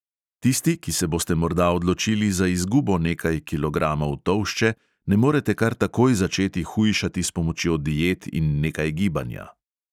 Tisti, ki se boste morda odločili za izgubo nekaj kilogramov tolšče, ne morete kar takoj začeti hujšati s pomočjo diet in nekaj gibanja.